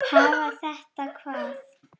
Hafa þetta hvað?